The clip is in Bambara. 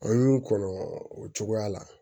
An y'u kɔnɔ o cogoya la